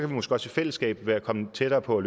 vi måske også i fællesskab være kommet tættere på